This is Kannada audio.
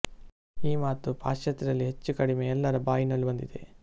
ಈ ಮಾತು ಪಾಶ್ಚಾತ್ಯರಲ್ಲಿ ಹೆಚ್ಚು ಕಡಿಮೆ ಎಲ್ಲರ ಬಾಯಿನಲ್ಲೂ ಬಂದಿದೆ